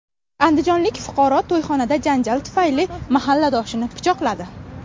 Andijonlik fuqaro to‘yxonada janjal tufayli mahalladoshini pichoqladi.